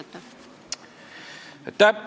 Aitäh!